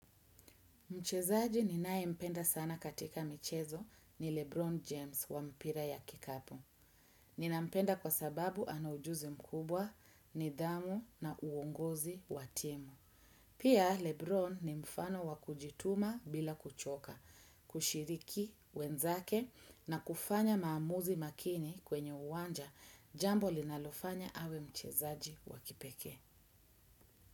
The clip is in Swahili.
Mchezaji ninae mpenda sana katika michezo ni Lebron James wa mpira ya kikapo. Nina mpenda kwa sababu anaujuzi mkubwa nidhamu na uongozi wa timu. Pia Lebron ni mfano wa kujituma bila kuchoka, kushiriki wenzake na kufanya maamuzi makini kwenye uwanja jambo linalofanya awe mchezaji wa kipekee.